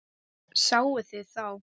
Sáuð þið þá?